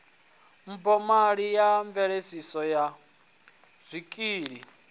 mphomali ya mveledzo ya zwikili